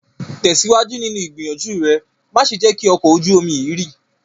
Tesiwaju ninu igbiyanju re! Ma ṣe jẹ ki ọkọ ojú omi yii rì